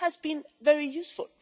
this has been very useful.